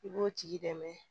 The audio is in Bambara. I b'o tigi dɛmɛ